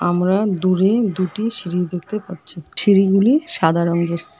আমরা দূরে দুটি সিঁড়ি দেখতে পাচ্ছি সিঁড়িগুলি সাদা রঙ্গের ।